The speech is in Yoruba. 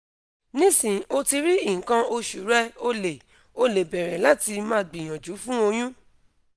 nisin o ti ri ikan osu re o le o le bere lati ma gbiyanju fun oyun